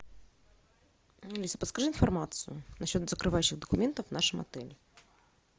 алис подскажи информацию насчет закрывающих документов в нашем отеле